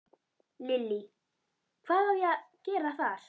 Lillý: Hvað á að gera þar?